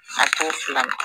a t'o filan na